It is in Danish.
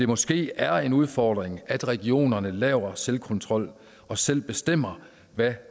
måske er en udfordring at regionerne laver selvkontrol og selv bestemmer hvad